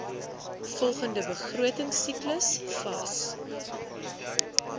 volgende begrotingsiklus vas